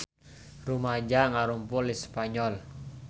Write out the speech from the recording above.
Rumaja ngarumpul di Spanyol